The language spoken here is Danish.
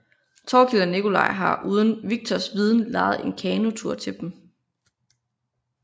Thorkild og Nikolaj har uden Viktors viden lejet en kanotur til dem